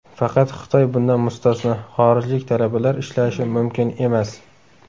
Faqat Xitoy bundan mustasno, xorijlik talabalar ishlashi mumkin emas.